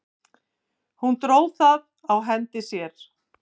Hún dró það á hendi sér.